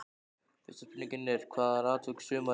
Fyrsta spurningin er: Hvað er atvik sumarsins?